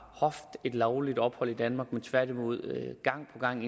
haft et lovligt ophold i danmark men tværtimod gang på gang